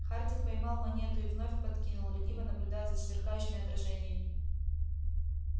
хардин поймал монету и вновь подкинул лениво наблюдая за сверкающими отражениями